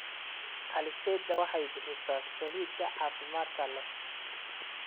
Alizeti waxay bixisaa saliid caafimaad leh.